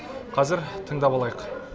қазір тыңдап алайық